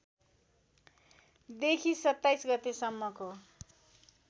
देखि २७ गते सम्मको